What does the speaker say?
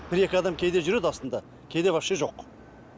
бір екі адам кейде жүреді астында кейде вообще жоқ